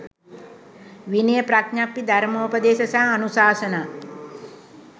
විනය ප්‍රඥප්ති, ධර්මෝපදේශ සහ අනුශාසනා